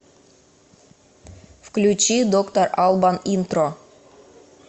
включи доктор албан интро